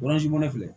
filɛ